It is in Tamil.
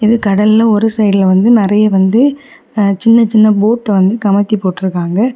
இது கடல்ல ஒரு சைடுல வந்து நிறைய வந்து ஆ சின்ன சின்ன போட்ட வந்து கமுத்தி போட்ருக்காங்க.